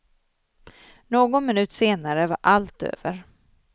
Någon minut senare var allt över.